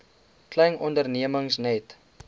klein ondernemings net